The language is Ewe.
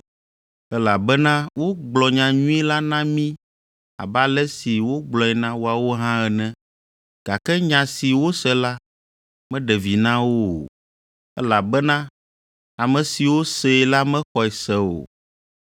Elabena wogblɔ nyanyui la na mí abe ale si wogblɔe na woawo hã ene. Gake nya si wose la, meɖe vi na wo o, elabena ame siwo see la mexɔe se o.